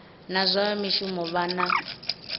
na zwa mishumo vha na